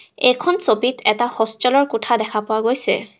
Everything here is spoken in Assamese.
এইখন ছবিত এটা হোষ্টেলৰ কোঠা দেখা পোৱা গৈছে।